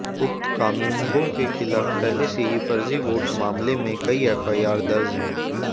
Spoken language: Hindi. उक्त कानूनगो के खिलाफ पहले से ही फर्जी वोट मामले में कई एफआईआर दर्ज हैं